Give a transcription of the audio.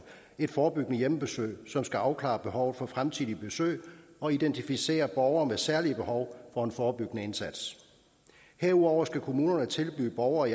et forebyggende hjemmebesøg som skal afklare behovet for fremtidige besøg og identificere borgere med særlige behov for en forebyggende indsats herudover skal kommunerne tilbyde borgere